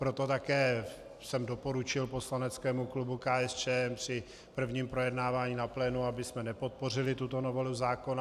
Proto také jsem doporučil poslaneckému klubu KSČM při prvním projednávání na plénu, abychom nepodpořili tuto novelu zákona.